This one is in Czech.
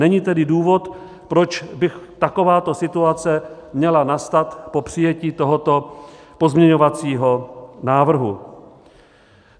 Není tedy důvod, proč by takováto situace měla nastat po přijetí tohoto pozměňovacího návrhu.